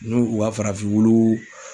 N'u u ka farafin wulu